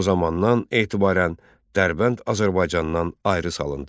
O zamandan etibarən Dərbənd Azərbaycandan ayrı salındı.